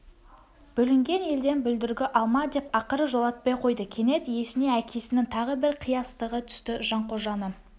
бүлінген елден бүлдіргі алма деп ақыры жолатпай қойды кенет есіне әкесінің тағы бір қиястығы түсті жанқожаның